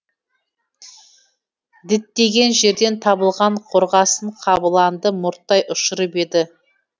діттеген жерден табылған қорғасын қабыланды мұрттай ұшырып еді